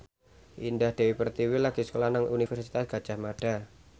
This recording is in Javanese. Indah Dewi Pertiwi lagi sekolah nang Universitas Gadjah Mada